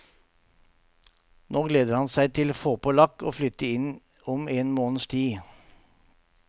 Nå gleder han seg til å få på lakk og flytte inn om en måneds tid.